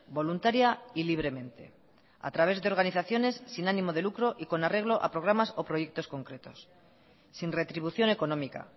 voluntaria y libremente a través de organizaciones sin ánimo de lucro y con arreglo a programas o proyecto concretos sin retribución económica